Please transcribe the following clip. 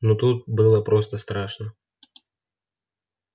но тут было просто страшно